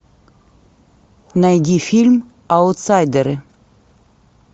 найди фильм аутсайдеры